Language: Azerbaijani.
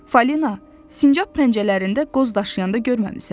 Falina, sincab pəncələrində qoz daşıyanda görməmisən?